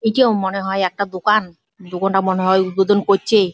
এইটাও মনে হয় একটা দোকান। দোকানটা মনে হয় উদ্বোধন করছে।